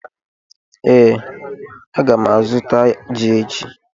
Ee, a ga m azụta ji echi